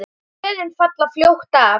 Blöðin falla fljótt af.